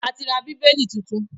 A ti ra Bíbélì tuntun